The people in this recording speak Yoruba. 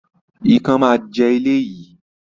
Ikán máa jẹ ilé yìí